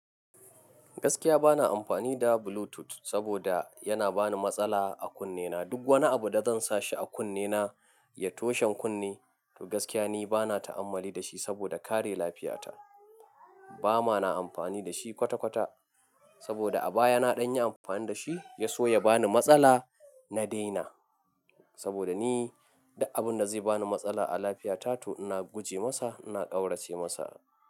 Gaskiya bana amfani da Bluetooth saboda yana bani matsala a kunne na. Duk wani abu da zan sa shi a kunne na ya toshe kunne, to gaskiya ni bana ta'ammali da shi saboda kare lafiyata. Bama na amfani da shi kwata-kwata saboda a baya na ɗan yi amfani da shi ya so ya bani matsala, na daina. Saboda ni duk abun da zai bani matsala a lafiyata to ina guje masa, ina kaurace masa.